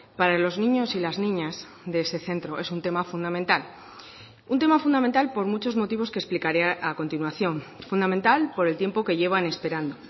para los niños y las niñas de ese centro es un tema fundamental un tema fundamental por muchos motivos que explicaré a continuación fundamental por el tiempo que llevan esperando